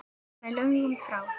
Og með lögum frá